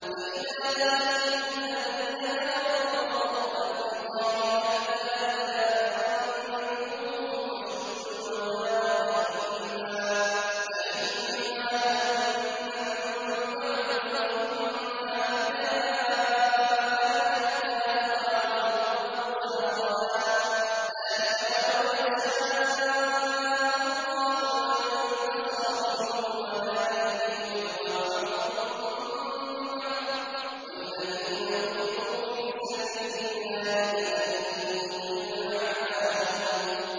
فَإِذَا لَقِيتُمُ الَّذِينَ كَفَرُوا فَضَرْبَ الرِّقَابِ حَتَّىٰ إِذَا أَثْخَنتُمُوهُمْ فَشُدُّوا الْوَثَاقَ فَإِمَّا مَنًّا بَعْدُ وَإِمَّا فِدَاءً حَتَّىٰ تَضَعَ الْحَرْبُ أَوْزَارَهَا ۚ ذَٰلِكَ وَلَوْ يَشَاءُ اللَّهُ لَانتَصَرَ مِنْهُمْ وَلَٰكِن لِّيَبْلُوَ بَعْضَكُم بِبَعْضٍ ۗ وَالَّذِينَ قُتِلُوا فِي سَبِيلِ اللَّهِ فَلَن يُضِلَّ أَعْمَالَهُمْ